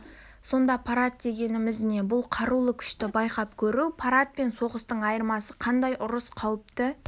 сонда парад дегеніміз не бұл қарулы күшті байқап көру парад пен соғыстың айырмасы қандай ұрыс қауіпті